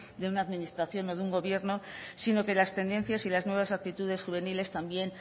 de una administración o de un gobierno sino que las tendencias y las nuevas actitudes juveniles también